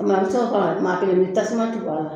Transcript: a bɛ se ka kɔrɔ a, maa kelen ni tasuma tɛ don a la.